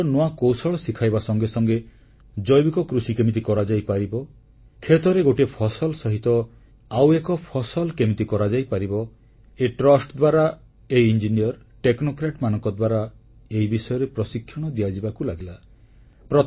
ଚାଷର ନୂଆ କୌଶଳ ଶିଖାଇବା ସଙ୍ଗେ ସଙ୍ଗେ ଜୈବିକ କୃଷି କେମିତି କରାଯାଇପାରିବ କ୍ଷେତରେ ଗୋଟିଏ ଫସଲ ସହିତ ଆଉ ଏକ ଫସଲ କେମିତି କରାଯାଇପାରିବ ଏ ଟ୍ରଷ୍ଟ ଦ୍ୱାରା ଏହି ଟେକ୍ନୋକ୍ରାଟ ଓ ଇଞ୍ଜିନିୟରମାନଙ୍କ ଦ୍ୱାରା ଏହି ବିଷୟରେ ପ୍ରଶିକ୍ଷଣ ଦିଆଯିବାକୁ ଲାଗିଲା